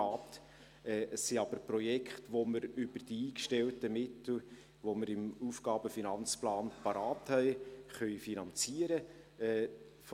Es sind aber Projekte, die wir über die eingestellten Mittel, die wir im Aufgaben- und Finanzplan bereitgestellt haben, finanzieren können.